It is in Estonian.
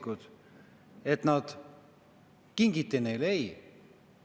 Kas te arvate, et need lapsed kingiti neile?